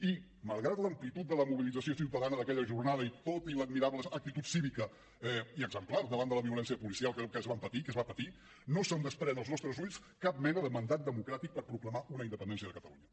i malgrat l’amplitud de la mobilització ciutadana d’aquella jornada i tot i l’admirable actitud cívica i exemplar davant de la violència policial que es va patir no se’n desprèn als nostres ulls cap mena de mandat democràtic per proclamar una independència de catalunya